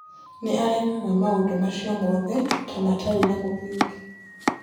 Nĩ aregaga maũndũ macio mothe ta matarĩ na mũthingi.